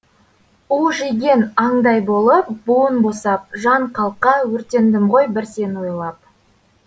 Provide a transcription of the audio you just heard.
у жеген аңдай болып буын босап жан қалқа өртендім ғой бір сені ойлап